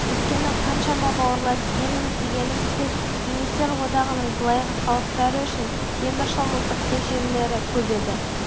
өйткені қаншама бауырлас елміз дегенімізбен кеңестер одағының былайғы халықтары үшін темір шымылдықты жерлері көп еді